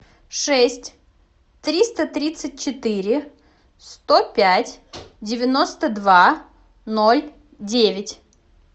шесть триста тридцать четыре сто пять девяносто два ноль девять